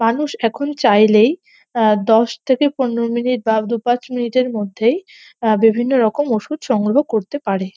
মানুষ এখন চাইলেই আহ দশ থেকে পনেরো মিনিট বা দু পাঁচ মিনিট এর মধ্যেই আহ বিভিন্ন রকম ওষুধ সংগ্রহ করতে পারে।